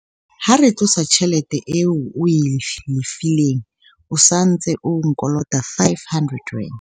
ha re tlosa tjhelete eo o e lefileng, o sa ntse o nkolota R500